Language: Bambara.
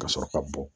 Ka sɔrɔ ka bɔ